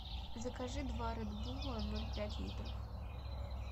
закажи два ред була ноль пять литров